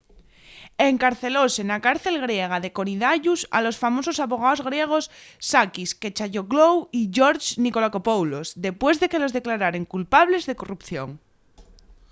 encarcelóse na cárcel griega de korydallus a los famosos abogaos griegos sakis kechagioglou y george nikolakopoulos depués de que los declararen culpables de corrupción